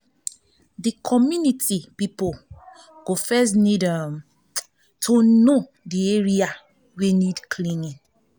di community pipo go first need um to know di area wey need cleaning